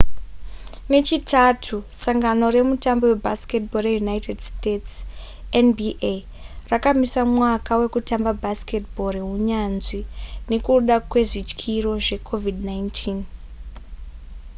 nechitatu sangano remutambo webasketball reunited states nba rakamisa mwaka wekutamba basketball rehunyanzvi nekuda kwezvityiro zvecovid-19